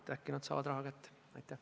Äkki nad saavad raha kätte.